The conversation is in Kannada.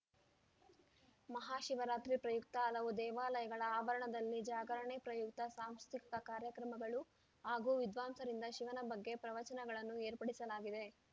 ಮಹಾಶಿವರಾತ್ರಿ ಪ್ರಯುಕ್ತ ಹಲವು ದೇವಾಲಯಗಳ ಆವರಣದಲ್ಲಿ ಜಾಗರಣೆ ಪ್ರಯುಕ್ತ ಸಾಂಸ್ಕೃತಿಕ ಕಾರ್ಯಕ್ರಮಗಳು ಹಾಗೂ ವಿದ್ವಾಂಸರಿಂದ ಶಿವನ ಬಗ್ಗೆ ಪ್ರವಚನಗಳನ್ನು ಏರ್ಪಡಿಸಲಾಗಿದೆ